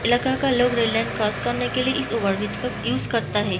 इलाका का लोग रेल लाइन क्रॉस करने के लिए इस ओवर ब्रिज का यूज करता हैं।